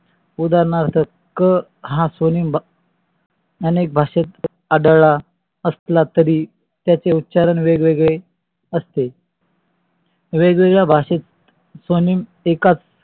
उदारणार्थ क हा स्वनियम अनेक भाषेत आढळला असला तरी त्याचे उच्चारण वेगवेगळे असते वेगवेगळ्या भाषेत स्वनेम एकाच